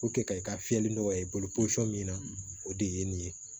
ka i ka fiyɛli nɔgɔya i bolo posɔn min na o de ye nin ye